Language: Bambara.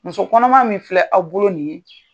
Muso kɔnɔma min filɛ aw bolo nin ye